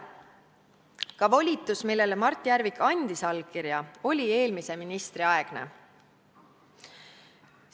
Ka volitus, millele Mart Järvik andis allkirja, oli eelmise ministri aegne.